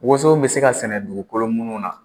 Woso me se ka sɛnɛ dugukolo minnu na,